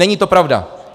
Není to pravda.